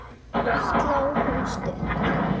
Sló hún stutt?